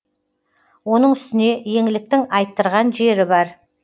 оның үстіне еңліктің айттырған жері бар